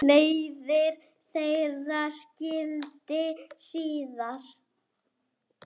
Leiðir þeirra skildi síðar.